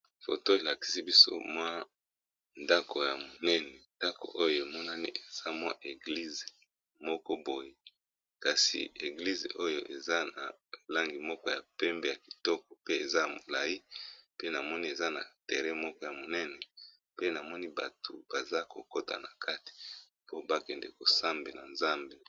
foto elakisi biso mwa ndako ya monene ndako oyo emonani eza mwa eglize moko boye kasi eglize oyo eza na langi moko ya pembe ya kitoko pe eza molai pe namoni eza na tere moko ya monene pe namoni bato baza kokota na kate po bakende kosambe na nzambe